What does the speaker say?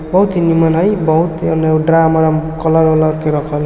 बहुत ही निमन हई बहुत मने ड्राम उराम कलर उलर के रखल --